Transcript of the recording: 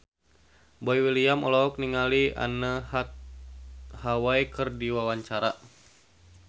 Boy William olohok ningali Anne Hathaway keur diwawancara